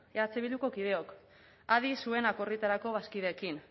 eh bilduko kideok adi zuen akordioetarako bazkideekin